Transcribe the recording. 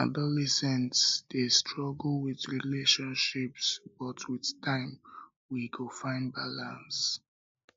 adolescents dey struggle with relationships but with um time we go find balance